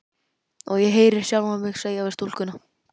Og ég heyri sjálfa mig segja við stúlkuna